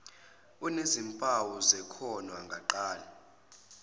enezimpawu zekhono engaqala